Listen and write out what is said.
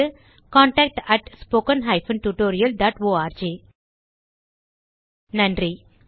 contact at spoken hyphen tutorial dot org நன்றி